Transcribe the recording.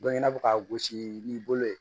i n'a fɔ ka gosi ni bolo ye